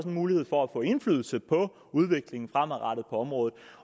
en mulighed for at få indflydelse på udviklingen fremadrettet på området